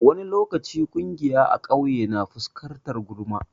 Wani lokaci ƙungiya a ƙauye na fuskantar gulma.